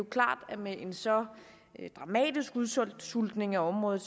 klart at med en så dramatisk udsultning af området